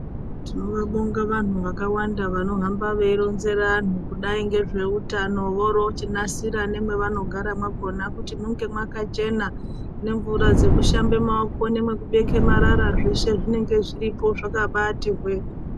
Tinovabonga vantu vakawanda vanohamba veironzera anhu kudai ngezveutano voro chinasira nemavanogara mwakona kuti munge mwakachena nemvura dzekushambe maoko nemekubeka marara zveshe zvinenge zviriko zvakabati hwee.